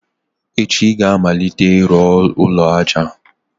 echi ị ga-amalite ịrụ ụlọ aja!